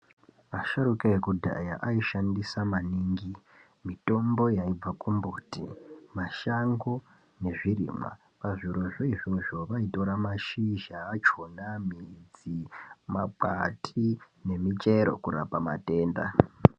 Asharuka yekudhaya aishandisa maningi mutombo yaibva kumuti mashango nezvirimwa pazviro izvozvo vaitora mashango midzi kurapa katenda